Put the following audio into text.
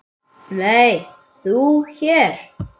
Nei, þú hér?